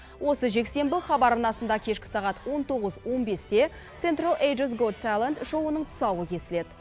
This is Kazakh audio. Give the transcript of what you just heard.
осы жексенбі хабар арнасында кешкі сағат он тоғыз он бесте сентрал азиас гот талент шоуының тұсауы кесіледі